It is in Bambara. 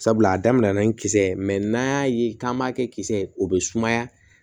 Sabula a daminɛna ni kisɛ ye n'an y'a ye k'an b'a kɛ kisɛ ye o bɛ sumaya